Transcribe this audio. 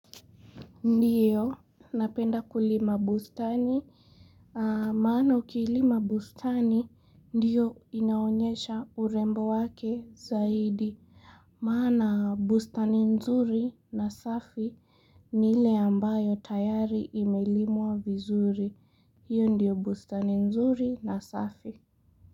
Ndiyo, napenda kulima bustani, maana ukilima bustani, ndiyo inaonyesha urembo wake zaidi. Maana bustani nzuri na safi ni ile ambayo tayari imelimwa vizuri, hiyo ndiyo bustani nzuri na safi.